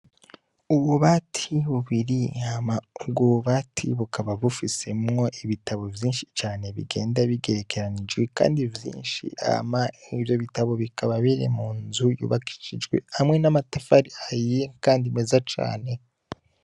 Uwo bati bubiri hama uwobatibukaba bufisemwo ibitabo vyinshi cane bigenda bigerekeranijwe, kandi vyinshi ama nivyo bitabo bikaba biri mu nzu yubakishijwe hamwe n'amatafari ayiye, kandi meza cane.